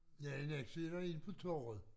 Ja i Nexø er der en på torvet